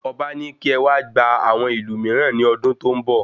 Ọba ní kí ẹ wá gba àwọn ìlù mìíràn ní ọdún tó n bọ